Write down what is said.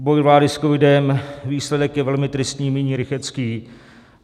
Boj vlády s covidem, výsledek je velmi tristní, míní Rychetský.